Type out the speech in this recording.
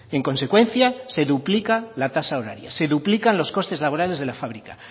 en consecuencia se duplica la tasa horaria se duplica los costes laborales de la fábrica